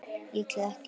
Líklega ekki.